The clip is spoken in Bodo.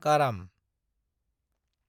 काराम